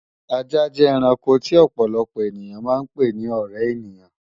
Ajá jẹ́ ẹranko tí ọ̀pọ̀lọpọ̀ èyàn máa ń pè ni ọ̀ré ènìyàn